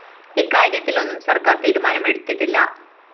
ഇക്കാര്യത്തിലൊന്നും സര്‍ക്കാര്‍ തീരുമാനം എടുത്തിട്ടില്ല